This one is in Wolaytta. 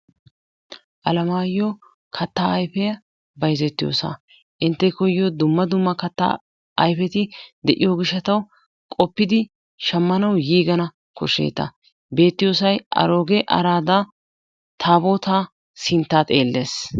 Alamayo kattaa ayifiya bayzettiyosaa intte koyyiyo dumma dumma kattaa ayfeti de"iyo gishshatawu qoppidi shammanawu yiigana koshsbeeta beettiyosayi arooge araada tabootaa sinttaa xeelles.